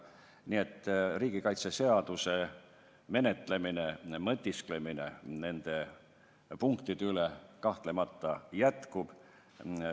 Nii et riigikaitseseaduse arutelu, mõtisklemine nende punktide üle kahtlemata jätkub.